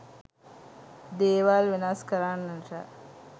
දේවල් වෙනස් කරන්නට